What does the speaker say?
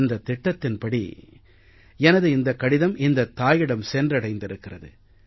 இந்தத் திட்டத்தின்படி தான் எனது இந்தக் கடிதம் இந்தத் தாயிடம் சென்றடைந்திருக்கிறது